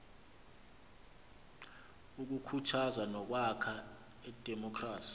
ukukhuthaza nokwakha idemokhrasi